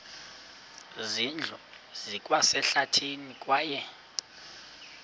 zindlu zikwasehlathini kwaye